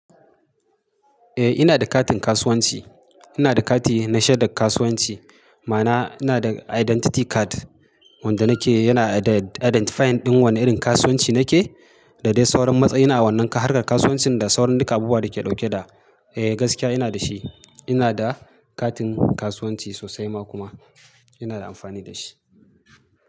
Eh ina da katin kasuwanci. Ina da kati na shaidan kasuwanci. Ma'ana ina da identity card wanda nake yana identifying ɗin wanne irin kasuwanci nake da dai sauran matsayi. Ina wannan harkar kasuwancin da sauran duka abubuwan da ke dauke da gaskiya ina da shi. Ina da katin kasuwanci sosai ma kuma ina da amfani da shi.